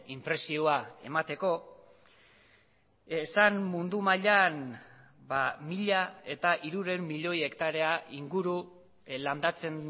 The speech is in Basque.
inpresioa emateko esan mundu mailan mila hirurehun milioi hektarea inguru landatzen